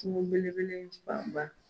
Kungo belebele in fan ba.